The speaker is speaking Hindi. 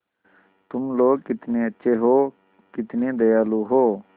तुम लोग कितने अच्छे हो कितने दयालु हो